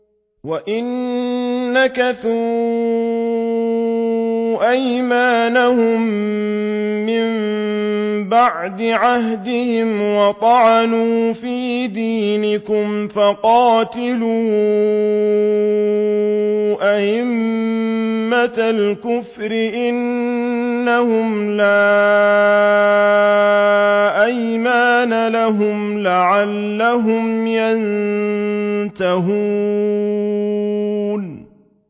وَإِن نَّكَثُوا أَيْمَانَهُم مِّن بَعْدِ عَهْدِهِمْ وَطَعَنُوا فِي دِينِكُمْ فَقَاتِلُوا أَئِمَّةَ الْكُفْرِ ۙ إِنَّهُمْ لَا أَيْمَانَ لَهُمْ لَعَلَّهُمْ يَنتَهُونَ